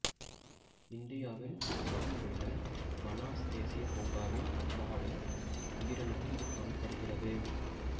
இந்தியாவில் அசாமில் உள்ள மனாஸ் தேசிய பூங்காவின் காடு உயிரினத்தில் இது காணப்படுகிறது